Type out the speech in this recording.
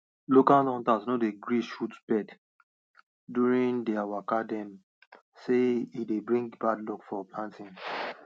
local hunters no dey gree shot birds during their waka dem say e dey bring bad luck for planting